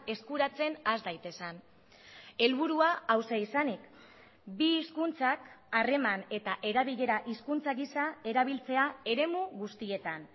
eskuratzen has daitezen helburua hauxe izanik bi hizkuntzak harreman eta erabilera hizkuntza gisa erabiltzea eremu guztietan